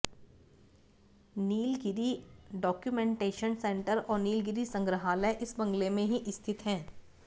Nilgiri documentation centre और नीलगिरी संग्रहालय इस बंगले में ही स्थित है